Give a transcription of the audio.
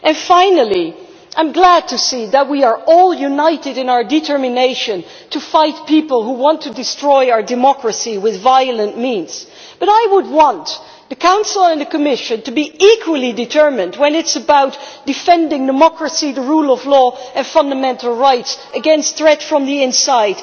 Finally, I am glad to see that we are all united in our determination to fight people who want to destroy our democracy through violent means. But I would like the Council and the Commission to be equally determined when it comes to defending democracy, the rule of law and fundamental rights against threats from the inside.